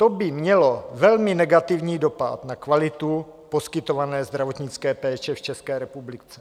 To by mělo velmi negativní dopad na kvalitu poskytované zdravotnické péče v České republice.